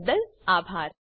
જોડાવા બદલ અભાર